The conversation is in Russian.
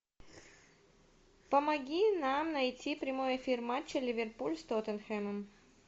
помоги нам найти прямой эфир матча ливерпуль с тоттенхэмом